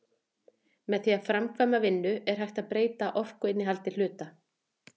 Með því að framkvæma vinnu er hægt að breyta orkuinnihaldi hluta.